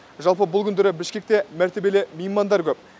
жалпы бұл күндері бішкекте мәртебелі меймандар көп